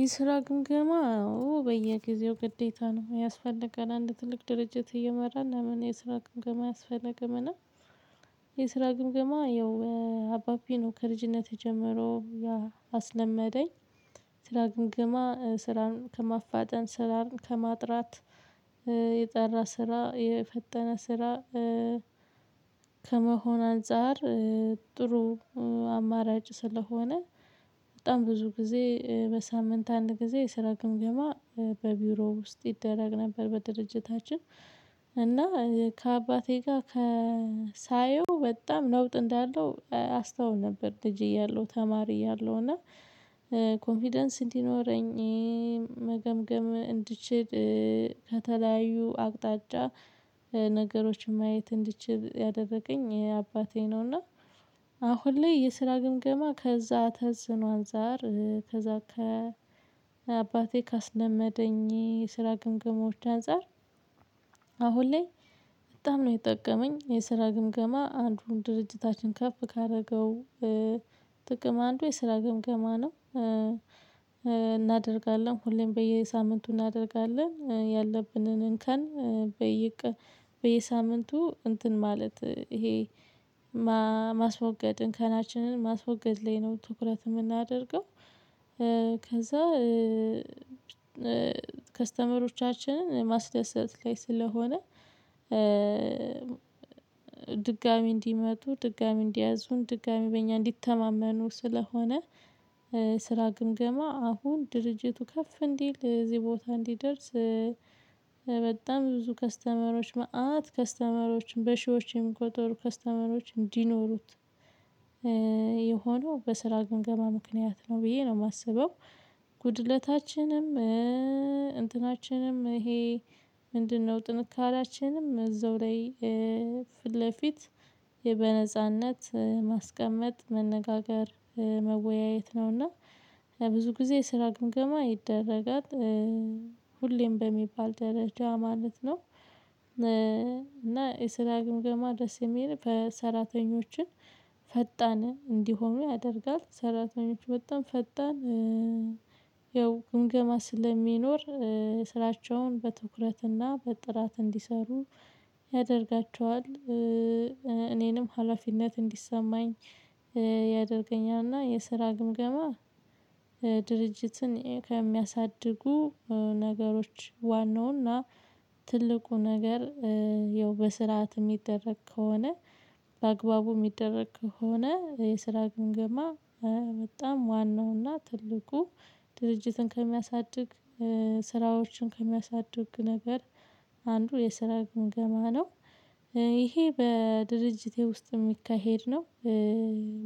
የስራ ግምገማ በየጊዜው ግዴታ ነው ያስፈልጋል። አንድ ትልቅ ድርጅት እየመራን ለምን የስራ ግምገማ አያስፈልግምና የስራ ግምገማ ያው አባቢ ነው ከልጅነቴ ጀምሮ ያስለመደኝ የስራ ግምግማ ስራን ከማፋጠን፣ ስራን ከማጥራት፣ የጠራ ስራ የፈጠነ ስራ ከመሆን አንፃር ጥሩ አማራጭ ስለሆነ በጣም ብዙ ጊዜ በሳምንት አንድ ጊዜ የስራ ግምገማ በቢሮ ውስጥ ይደረግ ነበር በድርጅታችን እና ከአባቴ ጋር ከ ሳየው በጣም ለውጥ እንዳለው አስተውል ነበር ልጄ እያለሁ ተማሪ እያለሁ እና ኮንፊደንስ እንዲኖረኝ፣ መገምገም እንድችል፣ ከተለያዩ አቅጣጫ ነገሮችን ማየት እንድትችል ያደረገኝ ይሄ አባቴ ነውና እና አሁን ላይ የስራ ግምገማ ከዛ ተጽኖ አንፃር ከዛ ከ አባቴ ካስለመደኝ የስራ ግምግሞች አንፃር አሁን ላይ በጣም ነው የጠቀመኝ የስራ ግምገማ አንዱ ድርጅታችንን ከፍ ካደረገው ጥቅም አንዱ የስራ ግምገማ ነው እናደርጋለን ሁሌም በየሳምንቱ እናደርጋለን ያለብንን እንከን በየሳምንቱ እንትን ማለት ይሄ ማስወገድ እንከናችንን ማስወገድ ላይ ነው ትኩረት የምናደርገው ከዛ ከስተመሮቻችንን ማስደሰት ላይ ስለሆነ ድጋሚ እንዲመጡ፣ ድጋሚ እንዲያዙን፣ ድጋሚ በእኛ እንዲተማመኑ ስለሆነ ስራ ግምገማ አሁን ድርጅቱ ከፍ እንዲል እዚህ ቦታ እንዲደርስ በጣም ብዙ ከስተመሮች፣ መአት ከስተመሮችን፣ በሺዎችን እንቁጠሩ ከስተመሮች እንዲኖሩት የሆነው በስራ ግምገማ ምክንያት ነው ብዬ ነው የማስበው። ጉድለታችንም እንትናችንም ይሄ ምንድነው ጥንካሬያችንም እዛው ላይ ፊት ለፊት በነጻነት ማስቀመጥ፣ መነጋገር፣ መወያየት ነው እና ብዙ ጊዜ ስራ ግምገማ ይደረጋል ሁሌም በሚባል ደረጃ ማለት ነው፤ እና የስራ ግምገማ ደስ የሚል በሰራተኞችን ፈጣንን እንዲሆኑ ያደርጋል፣ ሰራተኞች በጣም ፈጣን ያው ግምገማ ስለሚኖር ስራቸውን በትኩረትና በጥራት እንዲሰሩ ያደርጋቸዋል፣ እኔንም ሀላፊነት እንዲሰማኝ ያደርገኛልና የስራ ግምገማ ድርጅትን ከሚያሳድጉ ነገሮች ዋናውና ትልቁ ነገር ያው በስርዓት የሚደረግ ከሆነ፣ በአግባቡ የሚደረግ ከሆነ፣ የስራ ግምገማ በጣም ዋናውና ትልቁ ድርጅትን ከሚያሳድግ ስራዎችን ከሚያሳድግ ነገር አንዱ የስራ ግምገማ ነው። ይሄ በድርጅቴ ውስጥም የሚካሄድ ነው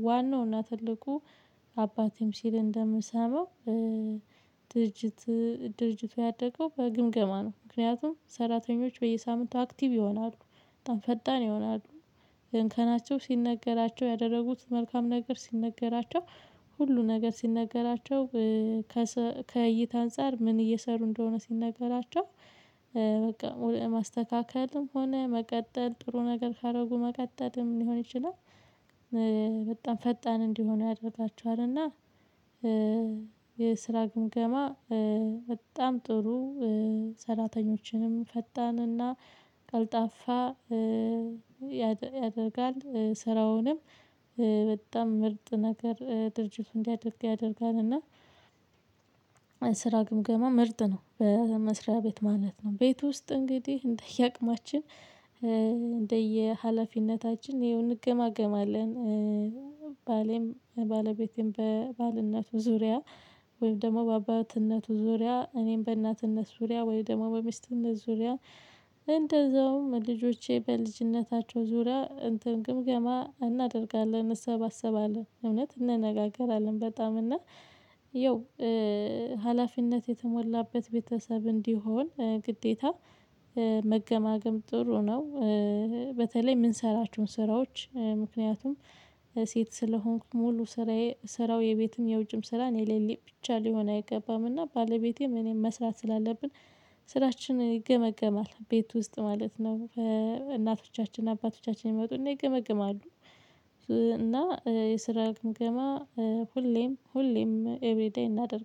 ዋናው እና ትልቁ አባቴም ሲል እንደምሰማው ድርጅት ድርጅቱ ያደገው በግምገማ ነው ምክንያቱም ሰራተኞች በየሳምንቱ አክቲቭ ይሆናሉ፣ በጣም ፈጣን ይሆናሉ፣ እንከናቸው ሲነገራቸው፣ ያደረጉት መልካም ነገር ሲነገራቸው፣ ሁሉ ነገር ሲነገራቸው፣ ከእይታ አንፃር ምን እየሰሩ እንደሆነ ሲነገራቸው በቃ ማስተካከልም ሆነ መቀጠል ጥሩ ነገር ካደረጉ መቀጠልም ሊሆን ይችላል፣ በጣም ፈጣን እንዲሆኑ ያደርጋችኋል እና የስራ ግምገማ በጣም ጥሩ ሰራተኞችንም ፈጣንና ቀልጣፋ ያደርጋል ስራውንም በጣም ምርጥ ነገር ድርጅት እንዲያደርግ ያደርጋል እና ስራ ግምገማ ምርጥ ነው። በመስሪያ ቤት ማለት ነው ቤት ውስጥ እንግዲህ እንደየአቅማችን እንደየሀላፊነታችን ያው እንገማገማለን። ባሌም ባለቤቴም በባልነቱ ዙሪያ ወይም ደግሞ በአባትነቱ ዙሪያ እኔም በእናትነት ዙሪያ ወይም ደግሞ በሚስትነት ዙሪያ እንደዛውም ልጆቼ በልጅነታቸው ዙሪያ እንትን ግምገማ እናደርጋለን እንሰባሰባለን፣ እውነት እንነጋገራለን በጣም እና ያው ሀላፊነት የተሞላበት ቤተሰብ እንዲሆን ግዴታ መገማገም ጥሩ ነው፣ በተለይ የምንሰራቸዉን ስራዎች ምክንያቱም ሴት ስለሆንኩት ሙሉ ስራዬ ስራው የቤትም የውጭም ስራ እኔ ላይ ብቻ ሊሆን አይገባምና ባለቤቴም እኔም መስራት ስላለብን ስራችን ይገመገማል ቤት ውስጥ ማለት ነው በእናቶቻችን አባቶቻችን ይመጡና ይገመግማሉ፣ እና የስራ ግምገማ ሁሌም ሁሌም ኤቭሪ ዴይ እናደርጋለን።